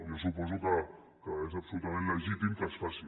jo suposo que és absolutament legítim que es faci